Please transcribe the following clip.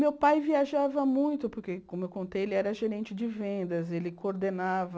Meu pai viajava muito, porque, como eu contei, ele era gerente de vendas, ele coordenava...